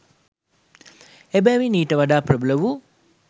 එබැවින් ඊට වඩා ප්‍රබල වූ